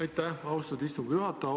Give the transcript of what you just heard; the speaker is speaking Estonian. Aitäh, austatud istungi juhataja!